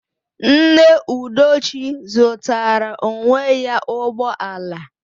Nne Udochi zụtara onwe ya ụgbọ ala